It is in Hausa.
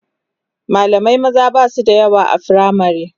mallamai maza Basu da yawa a firamare